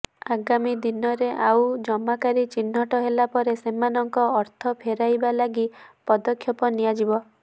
ଆଗାମୀ ଦିନରେ ଆଉ ଜମାକାରୀ ଚିହ୍ନଟ ହେଲାପରେ ସେମାନଙ୍କ ଅର୍ଥ ଫେରାଇବା ଲାଗି ପଦକ୍ଷେପ ନିଆଯିବ